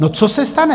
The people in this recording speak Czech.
No, co se stane?